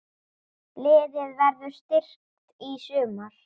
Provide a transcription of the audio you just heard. Liðið verður styrkt í sumar.